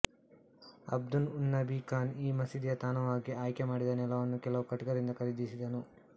ಅಬ್ದುನ್ಉನ್ನಬಿ ಖಾನ್ ಈ ಮಸೀದಿಯ ತಾಣವಾಗಿ ಆಯ್ಕೆ ಮಾಡಿದ ನೆಲವನ್ನು ಕೆಲವು ಕಟುಕರಿಂದ ಖರೀದಿಸಿದನು